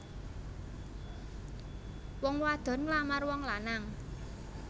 Wong wadon nglamar wong lanang